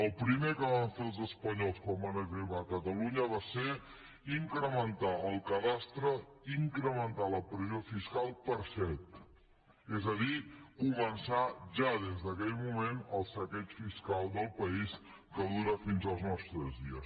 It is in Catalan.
el primer que van fer els espanyols quan van arribar a catalunya va ser incrementar el cadastre incrementar la pressió fiscal per set és a dir començar ja des d’aquell moment el saqueig fiscal del país que dura fins als nostres dies